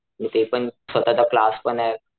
आणि ते पण स्वतःचा क्लास पणे.